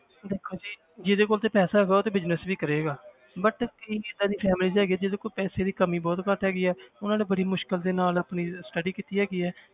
ਦੇਖੋ ਜੀ ਜਿਹਦੇ ਕੋਲ ਤੇ ਪੈਸਾ ਹੈਗਾ ਉਹ ਤੇ business ਵੀ ਕਰੇਗਾ but ਕਈ ਏਦਾਂ ਦੀ families ਹੈਗੀ ਜਿਹਦੇ ਕੋਲ ਪੈਸੇ ਦੀ ਕਮੀ ਬਹੁਤ ਘੱਟ ਹੈਗੀ ਹੈ ਉਹਨਾਂ ਨੇ ਬੜੀ ਮੁਸ਼ਕਲ ਦੇ ਨਾਲ ਆਪਣੀ study ਕੀਤੀ ਹੈਗੀ ਹੈ।